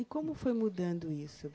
E como foi mudando isso